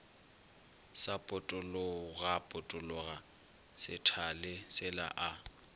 sa potologapotologa sethale sela a